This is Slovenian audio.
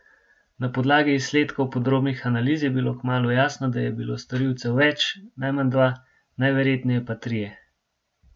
Na podlagi izsledkov podrobnih analiz je bilo kmalu jasno, da je bilo storilcev več, najmanj dva, najverjetneje pa trije.